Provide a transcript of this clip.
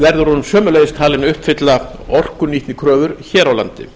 verður hún sömuleiðis talin uppfylla orkunýtnikröfur hér á landi